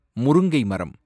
முருங்கைமரம்